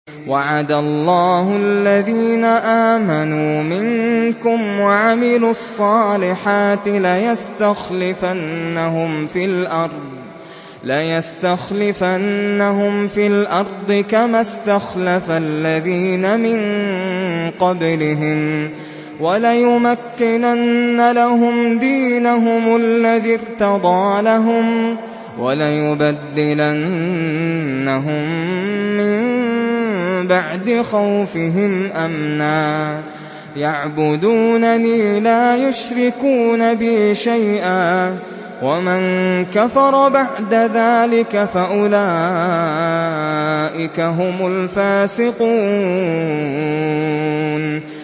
وَعَدَ اللَّهُ الَّذِينَ آمَنُوا مِنكُمْ وَعَمِلُوا الصَّالِحَاتِ لَيَسْتَخْلِفَنَّهُمْ فِي الْأَرْضِ كَمَا اسْتَخْلَفَ الَّذِينَ مِن قَبْلِهِمْ وَلَيُمَكِّنَنَّ لَهُمْ دِينَهُمُ الَّذِي ارْتَضَىٰ لَهُمْ وَلَيُبَدِّلَنَّهُم مِّن بَعْدِ خَوْفِهِمْ أَمْنًا ۚ يَعْبُدُونَنِي لَا يُشْرِكُونَ بِي شَيْئًا ۚ وَمَن كَفَرَ بَعْدَ ذَٰلِكَ فَأُولَٰئِكَ هُمُ الْفَاسِقُونَ